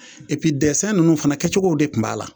ninnu fana kɛcogow de kun b'a la.